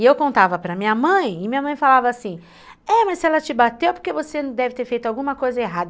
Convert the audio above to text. E eu contava para minha mãe, e minha mãe falava assim, é, mas se ela te bateu é porque você deve ter feito alguma coisa errada.